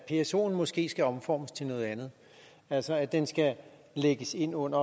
psoen måske skal omformes til noget andet altså at den skal lægges ind under